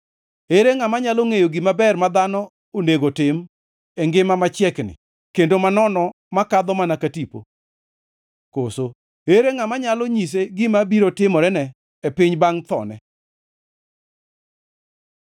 Ere ngʼama nyalo ngʼeyo gima ber ma dhano onego tim e ngima machiekni kendo manono makadho mana ka tipo? Koso ere ngʼama nyalo nyise gima biro timorene e piny bangʼ thone?